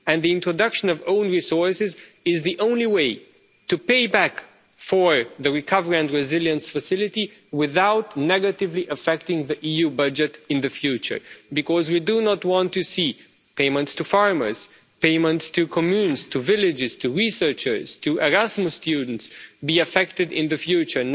And the introduction of own resources is the only way to pay for the Recovery and Resilience Facility without negatively affecting the EU budget in the future, because we do not want to see payments to farmers, payments to communes, to villages, to researchers, to Erasmus students, to be affected in the future.